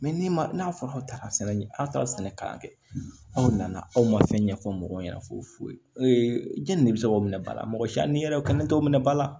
ni n'a fɔra aw taara sɛnɛ aw taara sɛnɛ kalan kɛ aw nana aw ma fɛn ɲɛfɔ mɔgɔw ɲɛna foyi foyi de bɛ se k'o minɛ ba la mɔgɔ si ni yɛrɛ kɛlen t'o minɛ ba la